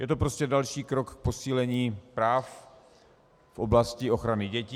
Je to prostě další krok k posílení práv v oblasti ochrany dětí.